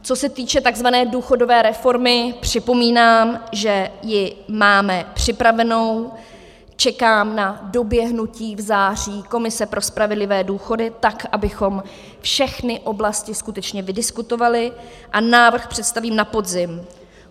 Co se týče tzv. důchodové reformy, připomínám, že ji máme připravenou, čekám na doběhnutí v září Komise pro spravedlivé důchody, tak abychom všechny oblasti skutečně vydiskutovali, a návrh představím na podzim.